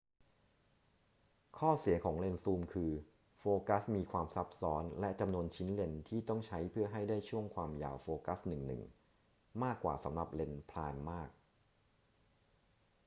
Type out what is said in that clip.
ข้อเสียของเลนส์ซูมคือโฟกัสมีความซับซ้อนและจำนวนชิ้นเลนส์ที่ต้องใช้เพื่อให้ได้ช่วงความยาวโฟกัสหนึ่ง ๆ มากกว่าสำหรับเลนส์ไพรม์มาก